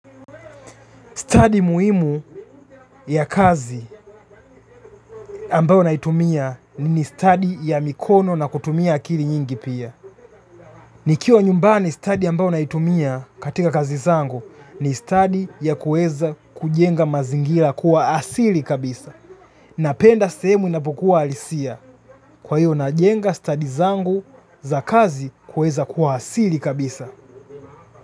Stadi muhimu ya kazi ambayo naitumia ni ni stadi ya mikono na kutumia akili nyingi pia. Nikiwa nyumbani stadi ambayo naitumia katika kazi zangu ni stadi ya kueza kujenga mazingira kuwa asili kabisa. Napenda sehemu inapokuwa alisia kwa hiyo najenga stadi zangu za kazi kueza kuwa asili kabisa.